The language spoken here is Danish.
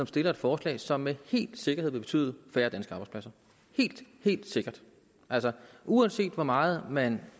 stiller et forslag som med sikkerhed vil betyde færre danske arbejdspladser helt helt sikkert uanset hvor meget man